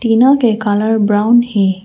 तीनों के colour brown है।